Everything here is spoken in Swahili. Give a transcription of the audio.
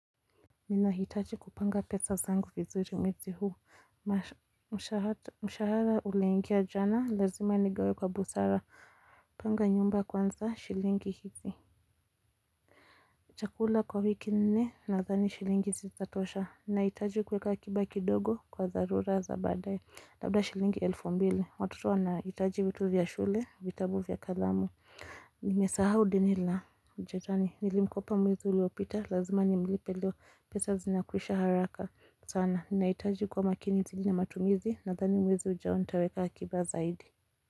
Ninahitaji kupanga pesa zangu vizuri mwezi huu mshahara umeingia jana lazima nigawe kwa busara Panga nyumba kwanza shilingi hizi chakula kwa wiki nne nadhani shilingi zizatosha nahitaji kuweka kuweka aki kidogo kwa dharura za badae Labda shilingi elfu mbili watoto wanahitaji vitu vya shule vitabu vya kalamu Nimesaha deni la Nilimkopa mwezi uliopita Lazima nimlipe leo pesa zinakwisha haraka sana, nahitaji kuwa makini zaidi na matumizi Nathani mwezi ujao nitaweka akiba zaidi.